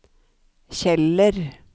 Kjeller